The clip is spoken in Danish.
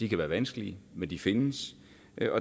kan være vanskelige men de findes